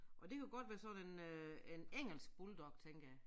Og det kunne godt være sådan en øh en engelsk bulldog tænker jeg